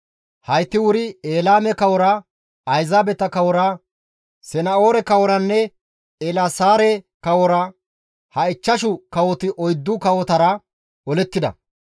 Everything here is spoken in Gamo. Hayti wuri Elaame kawora, ayzaabeta kawora, Sana7oore kaworanne Eelaasaare kawora (ha ichchashu kawoti oyddu kawotara) olettida.